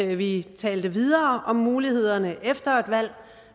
vi talte videre om mulighederne efter et valg